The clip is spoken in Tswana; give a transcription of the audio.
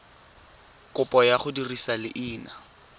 kopo ya go dirisa leina